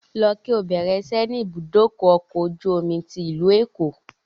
Lọ bẹ̀rẹ̀ ìṣẹ́ ni ibùdókọ̀ ọkọ̀ ojú omi tí ìlú Èkó!